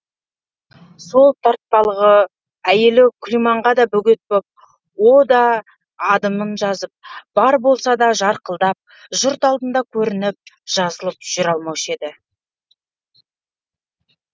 сол тартпалығы әйелі күлиманға да бөгет боп о да адымын жазып бар болса да жарқылдап жұрт алдында көрініп жазылып жүре алмаушы еді